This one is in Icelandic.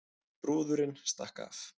Brúðurin stakk af